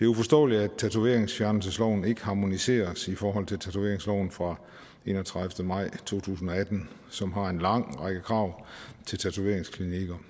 uforståeligt at tatoveringsfjernelsesloven ikke harmoniseres i forhold til tatoveringsloven fra enogtredivete maj to tusind og atten som har en lang række krav til tatoveringsklinikker